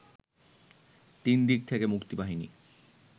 তিনদিক থেকে মুক্তিবাহিনী